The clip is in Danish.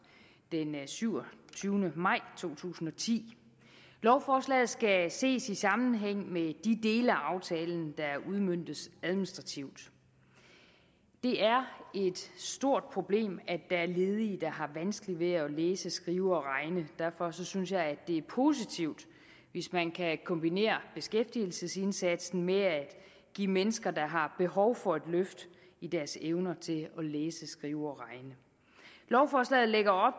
den syvogtyvende maj to tusind og ti lovforslaget skal ses i sammenhæng med de dele af aftalen der udmøntes administrativt det er et stort problem at der er ledige der har vanskeligt ved at læse skrive og regne derfor synes jeg det er positivt hvis man kan kombinere beskæftigelsesindsatsen med at give mennesker der har behov for det et løft i deres evner til at læse skrive og regne lovforslaget lægger op